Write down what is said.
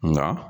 Nka